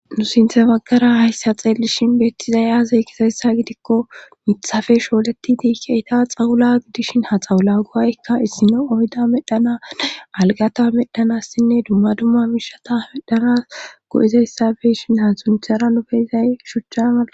nu sinthe maggara hayssa xeelishin beettizaya aze gizayssa gidikko mithafe shooletidii keyidaa xawula gidishin ha xawula go'aykka issino oyda medhana algata medhanassinne dumma dumma mishata medanas go'izayssa beyishin ha sunthera nu beyzay shuchcha mala